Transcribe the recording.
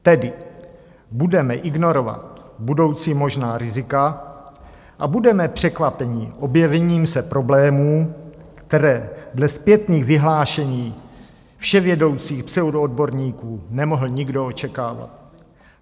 Tedy budeme ignorovat budoucí možná rizika a budeme překvapeni objevením se problémů, které dle zpětných vyhlášeních vševědoucích pseudoodborníků nemohl nikdo očekávat.